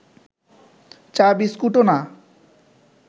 চা বিস্কুটও না